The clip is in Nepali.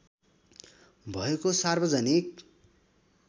भएको सार्वजनिक